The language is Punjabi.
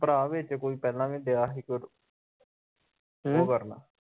ਭਰਾ ਵਿਚ ਕੋਈ ਪਹਿਲਾ ਵੀ ਦਿਆ ਹੀ